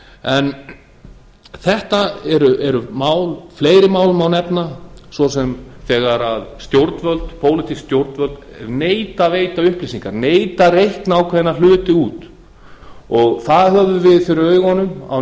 en fleiri mál má nefna svo sem þegar pólitísk stjórnvöld neita að veita upplýsingar neita að reikna ákveðna hluti út það höfðum við fyrir augunum á